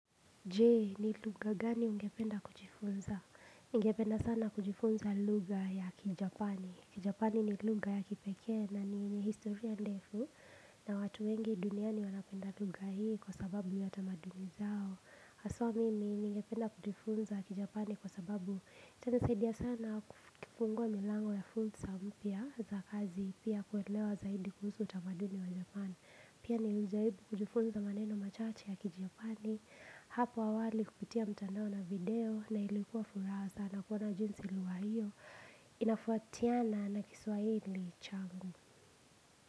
Jee, ni lugha gani ungependa kujifunza? Ningependa sana kujifunza lugha ya kijapani. Kijapani ni lugha ya kipekee nani ni historia ndefu. Na watu wengi duniani wanapenda lugha hii kwa sababu ya tamaduni zao. Haswaa mimi, niingependa kujifunza kijapani kwa sababu kinasaidia sana kufungua milango ya fursa mpya za kazi pia kuelewa zaidi kuhusu utamaduni wa japani. Pia nilijaribu kujifunza maneno machache ya kijapani. Hapa awali kupitia mtandao na video na ilikuwa furaha sana kuona jinsi lugha hiyo inafuatiana na kiswahili changu.